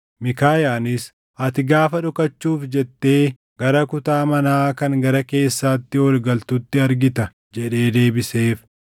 Miikaayaanis, “Ati gaafa dhokachuuf jettee gara kutaa manaa kan gara keessaatti ol galtutti argita” jedhee deebiseef.